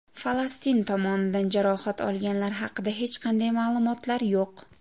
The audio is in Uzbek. Falastin tomonidan jarohat olganlar haqida hech qanday ma’lumotlar yo‘q.